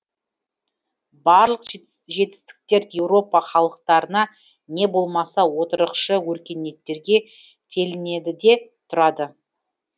барлық жетістіктер еуропа халықтарына не болмаса отырықшы өркениеттерге телінеді де тұрады